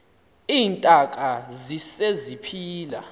iintaka zise ziphila